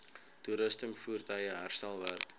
toerusting voertuie herstelwerk